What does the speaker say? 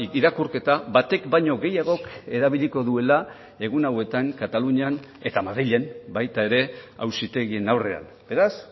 irakurketa batek baino gehiagok erabiliko duela egun hauetan katalunian eta madrilen baita ere auzitegien aurrean beraz